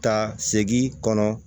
Ta segin kɔnɔ